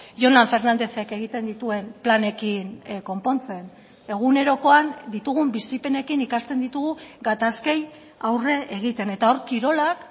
jonan fernándezek egiten dituen planekin konpontzen egunerokoan ditugun bizipenekin ikasten ditugu gatazkei aurre egiten eta hor kirolak